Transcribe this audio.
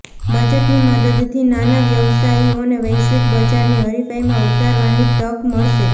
બજેટની મદદથી નાના વ્યવસાયીઓને વૈશ્વિક બજારની હરીફાઇમાં ઉતરવાની તક મળશે